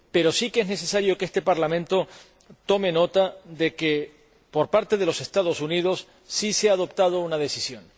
Pero sí que es necesario que este Parlamento tome nota de que, por parte de los Estados Unidos, sí se ha adoptado una decisión.